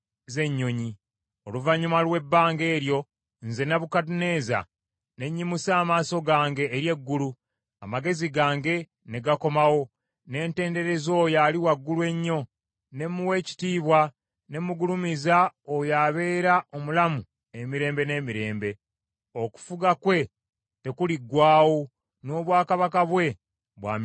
Oluvannyuma lw’ebbanga eryo, nze, Nebukadduneeza, ne nnyimusa amaaso gange eri eggulu, amagezi gange ne gakomawo. Ne ntendereza Oyo Ali Waggulu Ennyo, ne muwa ekitiibwa ne mugulumiza oyo abeera omulamu emirembe n’emirembe. Okufuga kwe tekuliggwaawo, n’obwakabaka bwe bwa mirembe na mirembe.